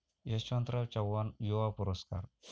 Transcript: यशवंतराव चव्हाण युवा पुरस्कार